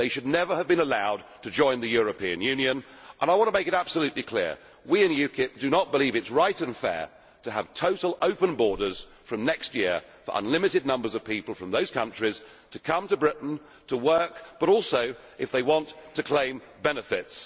They should never have been allowed to join the European Union and I want to make it absolutely clear we in UKIP do not believe it is right and fair to have total open borders from next year for unlimited numbers of people from those countries to come to Britain to work but also, if they want, to claim benefits.